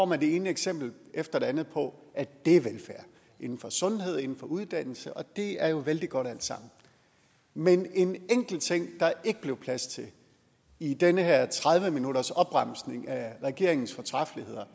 man det ene eksempel efter det andet på at dét er velfærd inden for sundhed inden for uddannelse det er jo vældig godt alt sammen men en enkelt ting der ikke blev plads til i den her tredive minutters opremsning af regeringens fortræffeligheder